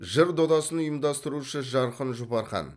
жыр додасын ұйымдастырушы жарқын жұпархан